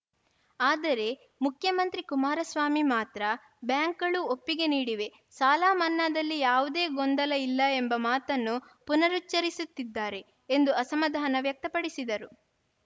ಆದರೆ ಮುಖ್ಯಮಂತ್ರಿ ಕುಮಾರಸ್ವಾಮಿ ಮಾತ್ರ ಬ್ಯಾಂಕ್‌ಗಳು ಒಪ್ಪಿಗೆ ನೀಡಿವೆ ಸಾಲ ಮನ್ನಾದಲ್ಲಿ ಯಾವುದೇ ಗೊಂದಲ ಇಲ್ಲ ಎಂಬ ಮಾತನ್ನು ಪುನರುಚ್ಚರಿಸುತ್ತಿದ್ದಾರೆ ಎಂದು ಅಸಮಾಧಾನ ವ್ಯಕ್ತಪಡಿಸಿದರು